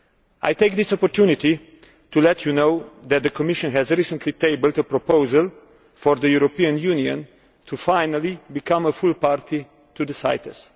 I take this opportunity to let you know that the Commission has recently tabled a proposal for the European Union finally to become a full party to CITES.